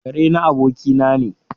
Ƙare na abokina ne.